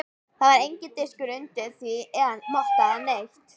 Það var enginn diskur undir því eða motta eða neitt.